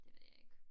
Det ved jeg ikke